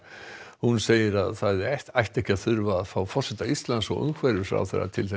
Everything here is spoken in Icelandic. hún segir að það ætti ekki að þurfa að fá forseta Íslands og umhverfisráðherra til